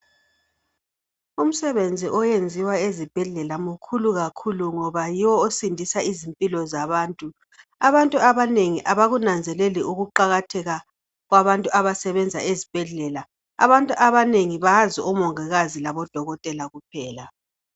Umsebenzi oyenziwa ezibhedlela umkhulu kakhulu ngoba yiwo osindisa izimpilo zabantu. Abantu abanengi abakunanzeleli ukuqakatheka kwabantu abasebenza ezibhedlela. Abantu abanengi bazi omongikazi labodokotela kuphela.